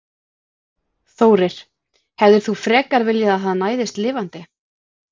Þórir: Hefðir þú frekar viljað að hann næðist lifandi?